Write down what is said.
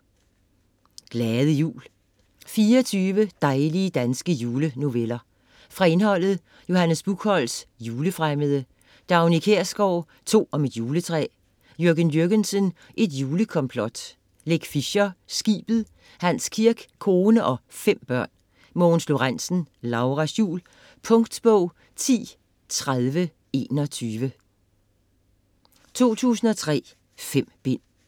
Glade jul: 24 dejlige danske julenoveller Fra indholdet: Johannes Buchholtz: Julefremmede. Dagny Kjærsgaard: To om et juletræ. Jürgen Jürgensen: Et julekomplot. Leck Fischer: Skibet. Hans Kirk: Kone og fem børn. Mogens Lorentzen: Lauras jul. Punktbog 103021 2003. 5 bind.